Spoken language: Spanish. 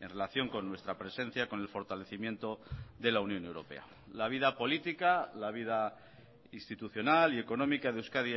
en relación con nuestra presencia con el fortalecimiento de la unión europea la vida política la vida institucional y económica de euskadi